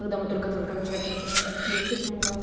когда мы только-только начали общаться я вообще думала